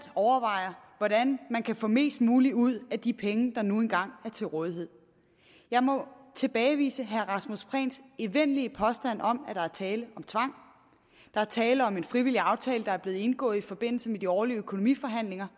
overvejer hvordan man kan få mest muligt ud af de penge der nu engang er til rådighed jeg må tilbagevise herre rasmus prehns evindelige påstand om at der er tale om tvang der er tale om en frivillig aftale der er blevet indgået i forbindelse med de årlige økonomiforhandlinger